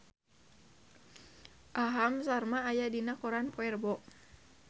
Aham Sharma aya dina koran poe Rebo